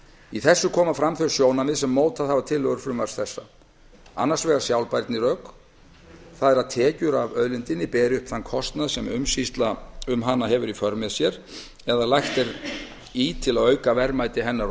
í þessu koma fram þau sjónarmið sem mótað hafa tillögur frumvarps þessa annars vegar sjálfbærnirök það er að tekjur af auðlindinni beri uppi þann kostnað sem umsýsla um hana hefur í för með sér eða lagt er í til að auka verðmæti hennar og